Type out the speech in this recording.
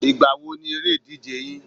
Ìgbà wo ni eré ìdíje yín?